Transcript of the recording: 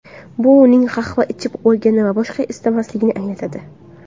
Bu uning qahva ichib bo‘lgani va boshqa istamasligini anglatadi.